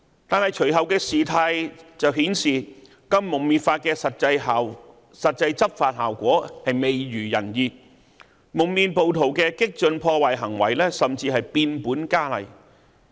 但是，隨後的事態卻顯示，《禁蒙面法》的實際執法效果未如人意，蒙面暴徒的激進破壞行為甚至變本加厲。